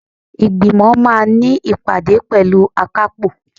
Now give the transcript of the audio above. Ìgbìmọ̀ máà ní ìpàdé pẹ̀lú akápò.